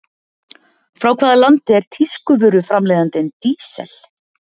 Frá hvaða landi er tískuvöruframleiðandinn Diesel?